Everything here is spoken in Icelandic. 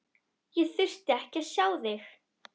Ég þurfti ekkert að sjá þig.